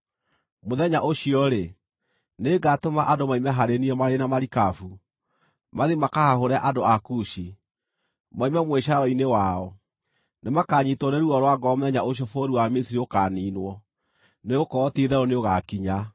“ ‘Mũthenya ũcio-rĩ, nĩngatũma andũ moime harĩ niĩ marĩ na marikabu, mathiĩ makahahũre andũ a Kushi, moime mwĩcaaro-inĩ wao. Nĩmakanyiitwo nĩ ruo rwa ngoro mũthenya ũcio bũrũri wa Misiri ũkaaniinwo, nĩgũkorwo ti-itherũ nĩũgakinya.